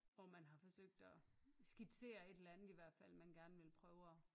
Hvor man har forsøgt at skitsere et eller andet i hvert fald man gerne vil prøve at